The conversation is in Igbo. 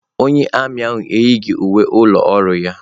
Onye armiị ahụ eyighị uwe ụlọ ọrụ ya.